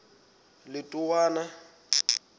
letowana